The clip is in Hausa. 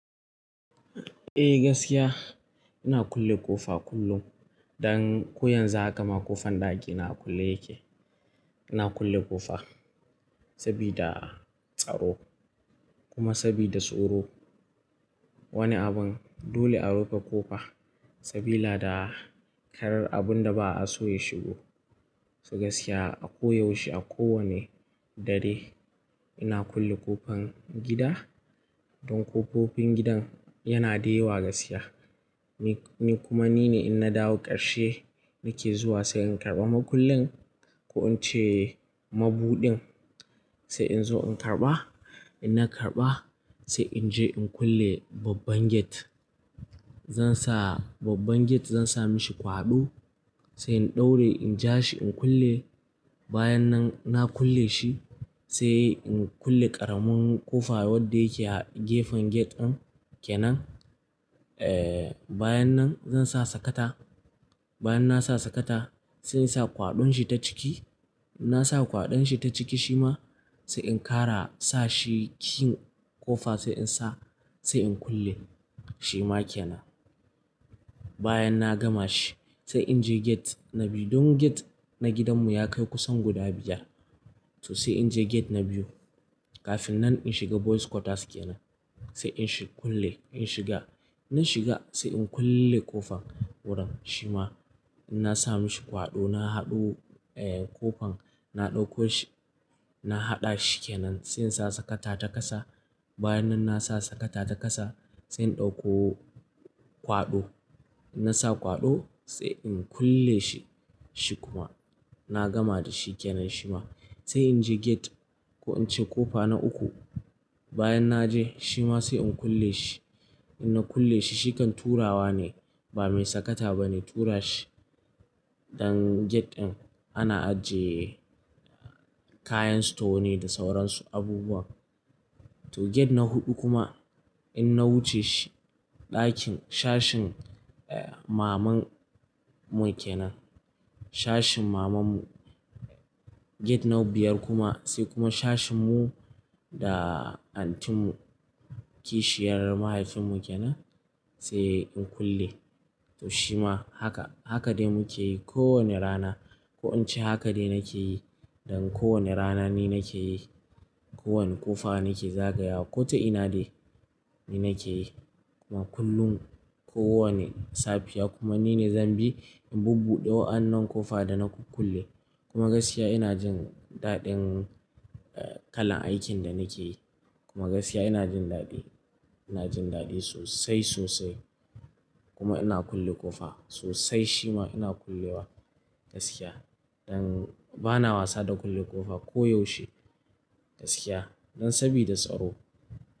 Eh gaskiya ina kulle ƙofa kullum. Dan ko yanzu haka ma ƙofan ɗaki ina kulle yake. Ina kulle ƙofa sabida tsaro kuma sabida tsoro. Wani abun dole a rufe ƙofa sabila da karar abun da ba'a so ya shigo. To gaskiya a ko yaushe a kowane dare ina kulle ƙofan gida. Don ƙofofin gidan yana da yawa gaskiya. Ni kuma nine in na dawo ƙarshe nake zuwa sai in karɓa makullin ko in ce mabudin sai in zo in karɓa. In na karɓa sai in je in kulle babban gate. Zan sa babban gate zan sa mishi kwaɗo sai in ɗaura in ja shi in kulle. Bayan nan na kulle shi sai in kulle ƙaramin ƙofa wadda yake a gefen gate din kenan. Eh bayan nan zan sa sakata. Bayan na sa sakata sai in sa kwaɗon shi ta ciki. In na sa kwaɗon shi ta ciki shi ma sai in kara sa shiƙin ƙofa sai in sa sai in kulle shi ma kenan. Bayan na gama shi sai in je gate na biyu. Don gate na gidan mu ya kai kusan guda biyar. To sai in je gate na biyu kafin nan in shiga boys quarters kenan. Sai in shiga kulle in shiga. In na shiga sai in kulle ƙofan wuran shi ma in na sa mishi kwaɗo na haɗu eh ƙofan na ɗauko shi. Na haɗa shi kenan sai in sa sakata ta ƙasa. Bayan nan na sa sakata ta ƙasa sai in ɗauko kwaɗo. In na sa kwaɗo sai in kulle shi shi kuma na gama da shi kenan shi ma. Sai in je gate ko in ce ƙofa na uku. Bayan na je shi ma sai in kulle shi. In na kulle shi shi kan turawa ne ba mai sakata bane tura shi. Dan gate din ana ajiye kayan store ne da sauran su abubuwan. To gate na huɗu kuma in na wuce shi ɗakin sashin maman mu ke nan. Sashin maman mu. Gate nau biyar kuma sai kuma sashin mu da anti mu kishiyar mahaifin mu kenan sai in kulle. To shi ma haka, haka dai muke yi ko wane rana. Ko in ce haka dai nake yi. Dan ko wane rana ni nake yi. Ko wane ƙofa nake zagayawa ko ta ina dai ni nake yi kuma kullum ko wane safiya kuma nine zan bi in bubbuɗe wa'annan ƙofa da na kulle. Kuma gaskiya ina jin daɗin kalan aikin da nake yi kuma gaskiya ina jin daɗi. Ina jin daɗi sosai sosai kuma ina kulle ƙofa sosai shi ma ina kullewa gaskiya. Dan bana wasa da kulle ƙofa ko yaushe gaskiya. Dan sabida tsaro.